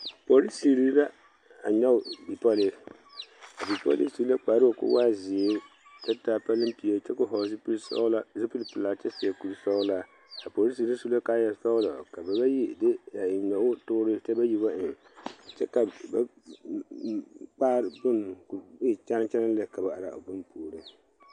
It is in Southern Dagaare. Polisiiri la nyoŋ bipole a bipole nyɛ su la kpare naŋ waa ziiri kyɛ taa palepiiɛ kyɛ koo vɔgle zupele sɔglɔ zupele pelaa a kyɛ seɛ kuri sɔglaa a polisiiri bayi eŋ la noɔtuura kyɛ bayi ba eŋ ba mm kpare bonne ko'o e kyɛne kyɛne lɛ ka ba are a bonne puori.